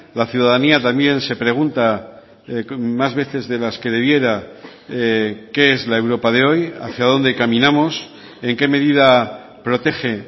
la ciudadanía también se pregunta más veces de las que debiera qué es la europa de hoy hacia dónde caminamos en qué medida protege